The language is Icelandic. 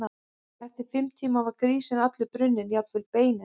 Eftir fimm tíma var grísinn allur brunninn, jafnvel beinin.